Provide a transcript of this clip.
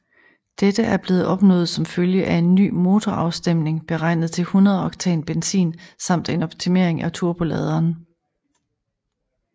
Dette er blevet opnået som følge af en ny motorafstemning beregnet til 100 oktan benzin samt en optimering af turboladeren